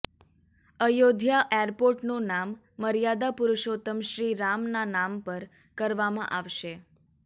અયોધ્યા એરપોર્ટનું નામ મર્યાદા પુરુષોત્તમ શ્રી રામના નામ પર કરવામાં આવશે